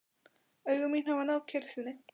Augu mín hafa náð kyrrð sinni.